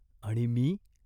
आणि मी ?